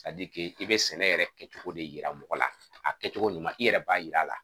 i bɛ sɛnɛ yɛrɛ kɛcogo de yira mɔgɔ la, a kɛcogo ɲuman i yɛrɛ b'a yir'a la.